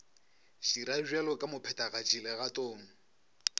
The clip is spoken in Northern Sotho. dira bjalo ka mophethagatši legatong